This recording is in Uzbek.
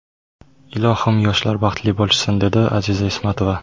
Ilohim yoshlar baxtli bo‘lishsin”, dedi Aziza Ismatova.